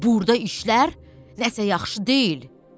Burda işlər nəsə yaxşı deyil.